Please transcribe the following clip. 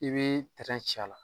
I bɛ ci a la